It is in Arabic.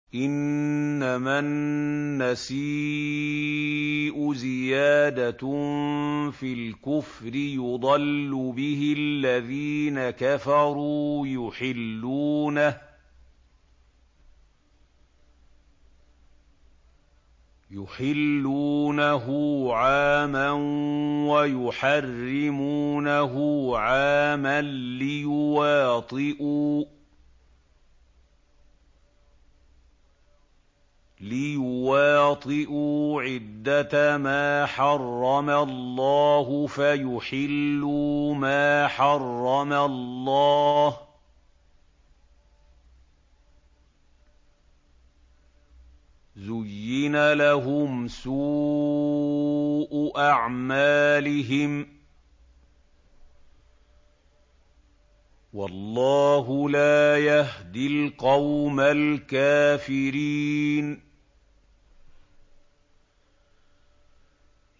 إِنَّمَا النَّسِيءُ زِيَادَةٌ فِي الْكُفْرِ ۖ يُضَلُّ بِهِ الَّذِينَ كَفَرُوا يُحِلُّونَهُ عَامًا وَيُحَرِّمُونَهُ عَامًا لِّيُوَاطِئُوا عِدَّةَ مَا حَرَّمَ اللَّهُ فَيُحِلُّوا مَا حَرَّمَ اللَّهُ ۚ زُيِّنَ لَهُمْ سُوءُ أَعْمَالِهِمْ ۗ وَاللَّهُ لَا يَهْدِي الْقَوْمَ الْكَافِرِينَ